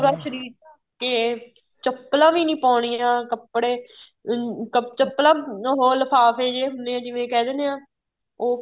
ਪੂਰਾ ਸ਼ਰੀਰ ਕੇ ਚੱਪਲਾਂ ਵੀ ਨਹੀਂ ਪਾਉਣੀਆਂ ਕੱਪੜੇ ਅਹ ਚੱਪਲਾਂ ਉਹ ਲਿਫਾਫੇ ਜ਼ੇ ਹੁੰਦੇ ਏ ਜਿਵੇਂ ਕਹਿ ਦਿੰਨੇ ਹਾਂ ਉਹ